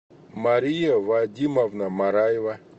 мария вадимовна мараева